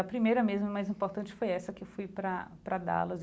A primeira mesmo mais importante foi essa que eu fui para para Dallas.